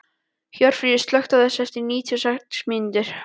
Hjörfríður, slökktu á þessu eftir níutíu og sex mínútur.